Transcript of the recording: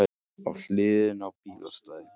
Á hliðinni á bílastæði